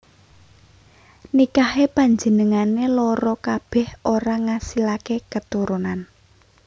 Nikahé panjenengané loro kabèh ora ngasilaké keturunan